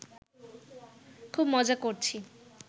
খুব মজা করছি